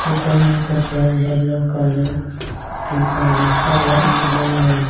ऊपर में कपड़ा है येलो कलर और पिंक कलर और लाइट भी जल रहे --